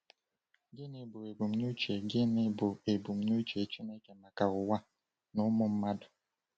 Gịnị bụ ebumnuche Gịnị bụ ebumnuche Chineke maka ụwa na ụmụ mmadụ?